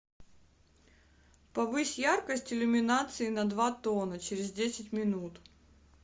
повысь яркость иллюминации на два тона через десять минут